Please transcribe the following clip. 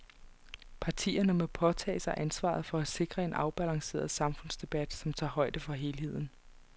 Partierne må påtage sig ansvaret for at sikre en afbalanceret samfundsdebat, som tager højde for helheden.